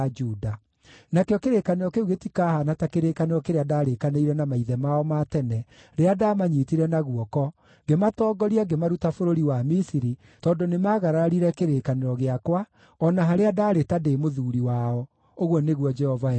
Nakĩo kĩrĩkanĩro kĩu gĩtihaana ta kĩrĩkanĩro kĩrĩa ndaarĩkanĩire na maithe mao ma tene rĩrĩa ndaamanyiitire na guoko, ngĩmatongoria ngĩmaruta bũrũri wa Misiri, tondũ nĩmagararire kĩrĩkanĩro gĩakwa, o na harĩa ndaarĩ ta ndĩ mũthuuri wao,” ũguo nĩguo Jehova ekuuga.